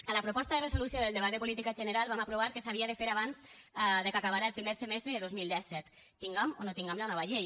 a la proposta de resolució del debat de política general vam aprovar que s’havia de fer abans que acabés el primer semestre de dos mil disset tingam o no tingam la nova llei